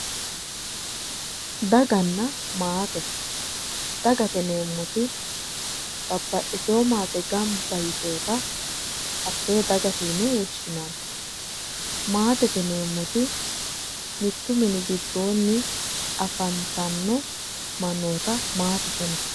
Dagate yineemmoti babbaxxitino maate ganba yitewoota hattee dagate yine woshshinanni maatete yineemmoti mittu mini giddoonni afantanno mannoota maatete yinayii